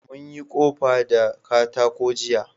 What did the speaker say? Mun yi ƙofa da katako jiya